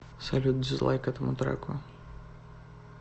салют дизлайк этому треку